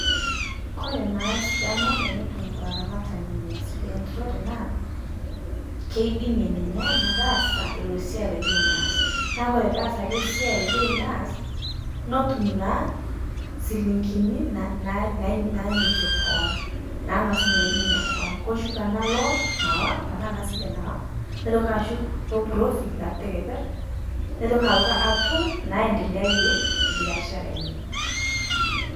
Kore naa sidano tenetum laramatani ina sile enturore naa, keidime ninye metaasa ilo siai loyeu neas, naa kore peas ale siai loyeu neas netum naa silinkini naa nany nanyokie koon naang'asunye atoki ninye koon, koshuk ana loon tanaa ana sile nawa neitoki ashuk o profit natii tekeperr, neitoki aitoki atum naendeyiarie biashara enye.